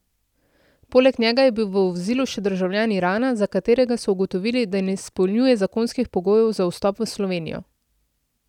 Poleg njega je bil v vozilu še državljan Irana, za katerega so ugotovili, da ne izpolnjuje zakonskih pogojev za vstop v Slovenijo.